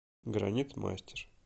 гранит мастер